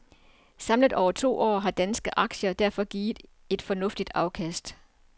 Samlet over de to år har danske aktier derfor givet et fornuftigt afkast.